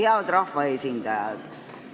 Head rahvaesindajad!